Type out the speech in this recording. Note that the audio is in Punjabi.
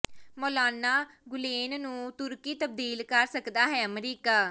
ਮੌਲਾਨਾ ਗੁਲੇਨ ਨੂੰ ਤੁਰਕੀ ਤਬਦੀਲ ਕਰ ਸਕਦਾ ਹੈ ਅਮਰੀਕਾ